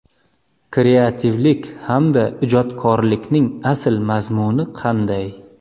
Kreativlik hamda ijodkorlikning asl mazmuni qanday?